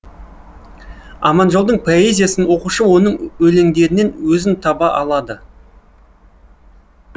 аманжолдың поэзиясын оқушы оның өлеңдерінен өзін таба алады